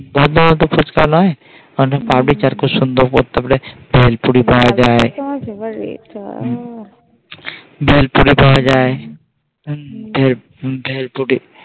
বর্ধমান তো ফুচকা নয় বেলপুরি পাওয়া যায় ভেল বেলপুরি কিনতে